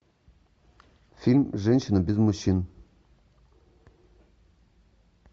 фильм женщина без мужчин